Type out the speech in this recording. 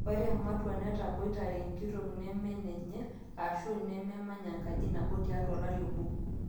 ore ematwa naataboitare enkitok nemenenye aashu nememanya enkaji nabo tiatwa olari obo